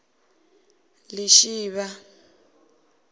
lishivha